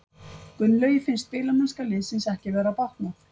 Gunnlaugi finnst spilamennska liðsins ekki vera að batna.